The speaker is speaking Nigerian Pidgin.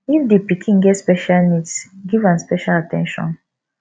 if di pikin get special needs give am special at ten tion